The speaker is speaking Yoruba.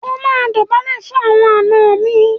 O máa dọ̀bálẹ̀ fún àwọn àna mi.